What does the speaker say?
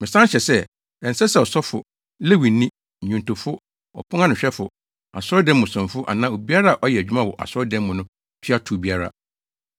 Mesan hyɛ sɛ, ɛnsɛ sɛ ɔsɔfo, Lewini, nnwontofo, ɔpon ano hwɛfo, asɔredan mu somfo anaa obiara a ɔyɛ adwuma wɔ asɔredan mu no tua tow biara.